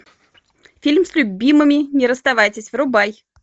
фильм с любимыми не расставайтесь врубай